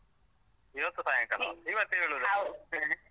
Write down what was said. ಇವತ್ತು ಸಾಯಂಕಾಲವ? .